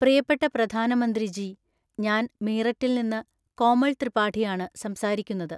പ്രിയപ്പെട്ട പ്രധാനമന്ത്രിജീ, ഞാന് മീററ്റില്‍ നിന്ന് കോമള്‍ ത്രിപാഠിയാണു സംസാരിക്കുന്നത്.